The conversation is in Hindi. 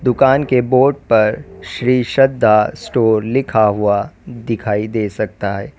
दुकान के बोर्ड पर श्री श्रद्धा स्टोर लिखा हुआ दिखाई दे सकता है।